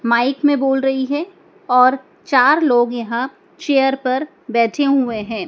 Mic में बोल रही है और चार लोग यहां चेयर पर बैठे हुए हैं।